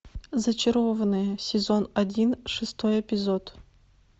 зачарованные сезон один шестой эпизод